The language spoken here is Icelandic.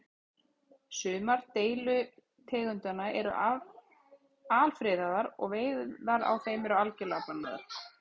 Sumar deilitegundanna eru alfriðaðar og veiðar á þeim eru algjörlega bannaðar.